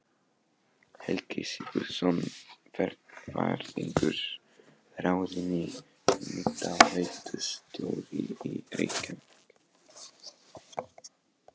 Helgi Sigurðsson verkfræðingur ráðinn hitaveitustjóri í Reykjavík.